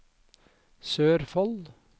Sørfold